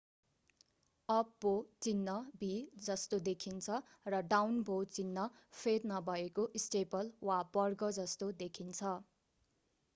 up bow चिन्ह भी जस्तो देखिन्छ र डाउन बो चिन्ह फेद नभएको स्टेपल वा वर्ग जस्तो देखिन्छ